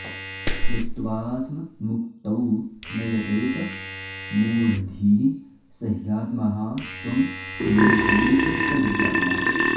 यस्त्वात्ममुक्तौ न यतेत मूढधीः स ह्यात्महा स्वं विनिहन्त्यसद्ग्रहात्